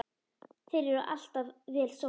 Þeir eru alltaf vel sóttir.